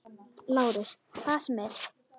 LÁRUS: Hvað sem er.